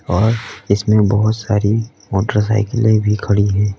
और इसमें बहोत सारी मोटरसाइकिले में भी खड़ी है।